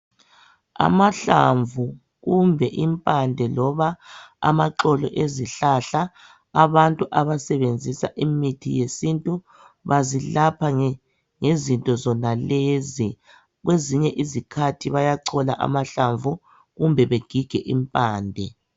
Amahlamvu kumbe impande loba amaxolo ezihlahla abantu abasebenza imithi yesintu bazilapha ngezinto zonalezi kwezinye izikhathi bayachola amahlamvu kumbe begige impande.